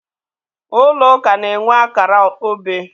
Ụlọ ụka na-enwe akara obe.